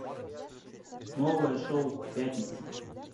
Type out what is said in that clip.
новое шоу пятница